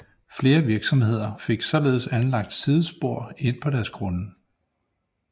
Flere virksomheder fik således anlagt sidespor ind på deres grunde